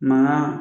Mankan